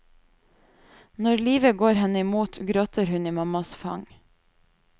Når livet går henne i mot, gråter hun i mammas fang.